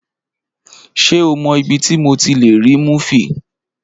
Ṣé o mọ ibi tí mo ti lè ra múfì?